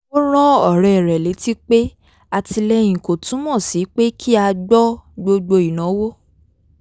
ó rán ọ̀rẹ́ rẹ̀ létí pé àtìlẹ́yìn kò túmọ̀ sí pé kí a gbọ́ gbogbo ìnáwó